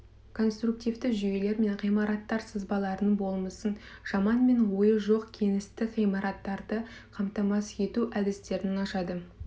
конструктивті жүйелер мен ғимараттар сызбаларының болмысын жаманмен ойы жоқ кеңістік ғимараттарды қамтамасыз ету әдістерін ашады